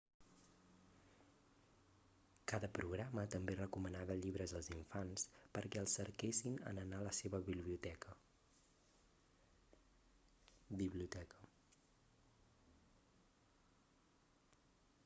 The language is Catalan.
cada programa també recomanava llibres als infants perquè els cerquessin en anar a la seva biblioteca